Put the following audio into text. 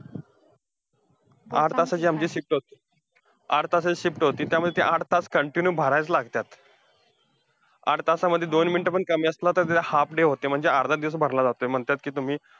आठ तासाची आमची shift होती आठ तासाची shift होती त्यामुळे ते आठ तास continue भरायलाच लागत्यात. आठ तासामध्ये दोन minute पण कमी असले, तर तो half day होतोय, म्हणजे अर्धा दिवस भरला जातोय. म्हणतात कि तुम्ही,